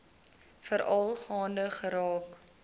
veral gaande geraak